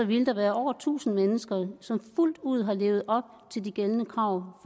ville der være over tusind mennesker som fuldt ud levede op til de gældende krav